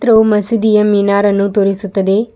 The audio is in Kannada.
ಇದು ಮಸೀದಿಯ ಮಿನಾರ್ ಅನ್ನು ತೋರಿಸುತ್ತದೆ.